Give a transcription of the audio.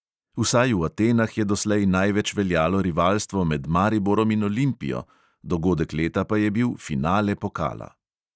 Vsaj v atenah je doslej največ veljalo rivalstvo med mariborom in olimpijo, dogodek leta pa je bil finale pokala.